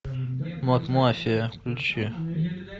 макмафия включи